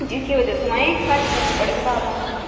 जी के बजह से माई खाली करने पड़े बापड़ा न गाँव।